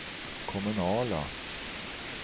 kommunala